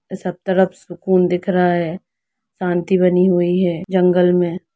सब तरफ सुकून दिख रहा है शांति बनी हुई है जंगल मे।